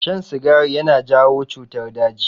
Shan sigari yana jawo cutar daji.